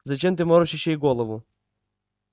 зачем ты морочишь ей голову